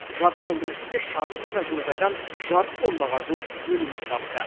жарты жылдың ішінде шағын ғана жылыжайдан жарты тоннаға жуық өнім жинапты